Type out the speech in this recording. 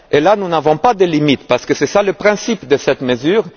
Là, nous n'avons pas de limites, parce que c'est le principe de cette mesure.